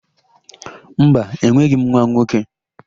Mba, enweghị m nwa nwoke.